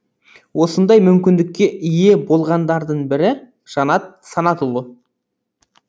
осындай мүмкіндікке ие болғандардың бірі жанат санатұлы